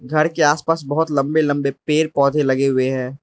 घर के आसपास बहोत लंबे लंबे पेड़ पौधे लगे हुए हैं।